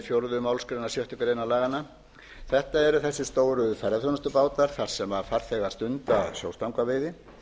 fjórðu málsgrein sjöttu grein laganna þetta eru þessir stóru ferðaþjónustubátar þar sem farþegar stunda sjóstangaveiði